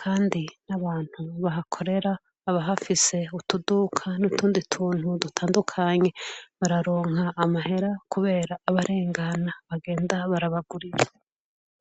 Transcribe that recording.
kandi abantu bahakorera, abahafise utuduka n'utundi tuntu dutandukanye bararonka amahera kubera abarengana bagenda barabagurira.